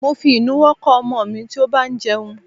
Mo fi ìnuwọ́ kọ́ ọmọ mi tí ó bá ń jẹun.